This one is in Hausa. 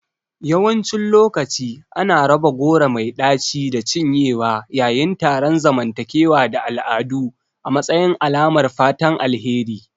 Yawancin lokaci ana raba goro mai ɗaci da cinyewa yayin taron zamantakewa da al'adu a matsayin alamar fatan alheri.